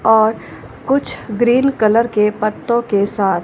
और कुछ green colour के पत्तों के साथ--